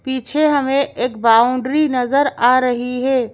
पीछे हमें एक बाउंड्री नजर आ रही है।